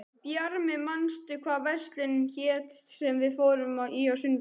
Bjarmi, manstu hvað verslunin hét sem við fórum í á sunnudaginn?